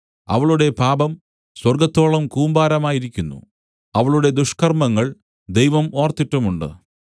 അവളുടെ പാപം സ്വർഗ്ഗത്തോളം കൂമ്പാരമായിരിക്കുന്നു അവളുടെ ദുഷ്കർമ്മങ്ങൾ ദൈവം ഓർത്തിട്ടുമുണ്ട്